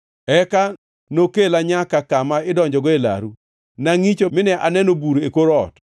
Eka nokela nyaka kama idonjogo e laru. Ne angʼicho mine aneno bur e kor ot.